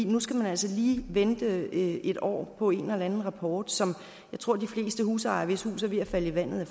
nu skal man altså lige vente et år på en eller anden rapport som jeg tror at de fleste husejere hvis hus er ved at falde i vandet